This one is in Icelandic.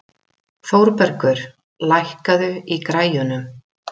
Þórbergur, lækkaðu í græjunum.